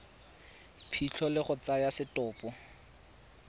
phitlho le go tsaya setopo